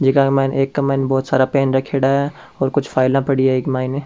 जे का के माइन एक क माइन बहुत सारा पेन रखेड़ा है और कुछ फाइल पड़ी है इक माइन।